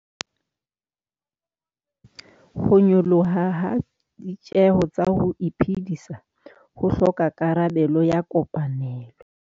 Ho nyoloha ha ditjeho tsa ho iphedisa ho hloka karabelo ya kopanelo.